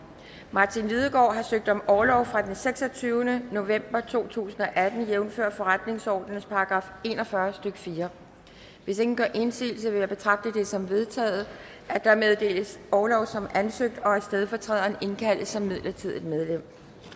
martin lidegaard har søgt om orlov fra den seksogtyvende november to tusind og atten jævnfør forretningsordenens § en og fyrre stykke fjerde hvis ingen gør indsigelse vil jeg betragte det som vedtaget at der meddeles orlov som ansøgt og at stedfortræderen indkaldes som midlertidigt medlem